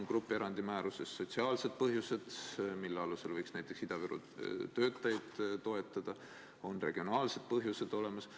Grupierandi määruses on kirjas sotsiaalsed põhjused, mille alusel võiks näiteks Ida-Viru töötajaid toetada, on regionaalsed põhjused olemas.